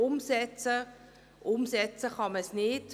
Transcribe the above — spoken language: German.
Denn umsetzen kann man sie nicht.